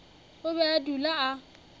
o be a dula a